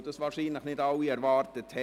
– Es ist nicht bestritten.